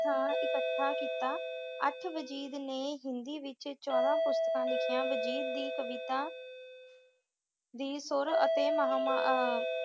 ਥਾਂ ਇੱਕਠਾ ਕੀਤਾ। ਅੱਠ ਵਜੀਦ ਨੇ ਹਿੰਦੀ ਵਿੱਚ ਚੋਦਾਂ ਪੁਸਤਕਾ ਲਿਖੀਆਂ। ਵਜੀਦ ਦੀ ਕਵਿਤਾ ਦੀ ਸੁਰ ਅਤੇ ਮੁਹਾਮ~ ਅਹ